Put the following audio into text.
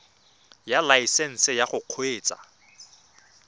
ya laesesnse ya go kgweetsa